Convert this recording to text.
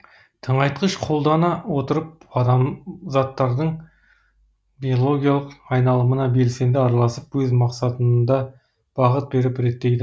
тыңайтқыш қолдана отырып адам заттардың биологиялық айналымына белсенді араласып өз мақсатында бағыт беріп реттейді